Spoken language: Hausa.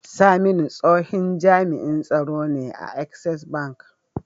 Saminu tsohin jami'in tsaro ne a access bank